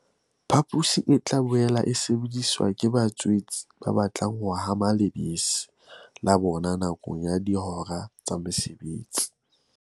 Phaposi e tla boela e sebediswa ke ba tswetse ba batlang ho hama lebese la bona nakong ya dihora tsa mosebetsi.